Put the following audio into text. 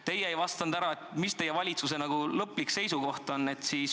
Teie ei vastanud, mis teie valitsuse lõplik seisukoht on.